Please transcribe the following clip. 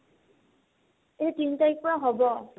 এই তিন তাৰিখৰ পৰা হ'ব